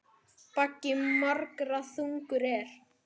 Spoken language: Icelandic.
Baggi margra þungur er.